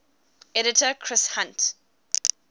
editor chris hunt